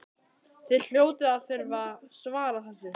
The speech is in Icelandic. Þið hljótið að þurfa að svara þessu?